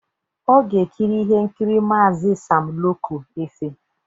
Ọ ga-ekiri ihe nkiri Maazi Sam Loco Efe.